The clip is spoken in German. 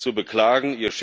zu beklagen.